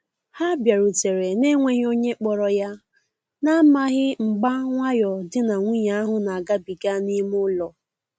Ha biarutere na-enweghi onye kporo ya, na amaghi mgba nwayo di na nwunye ahu na agabiga n'ime ụlọ.